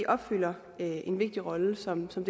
opfylder en vigtig rolle som som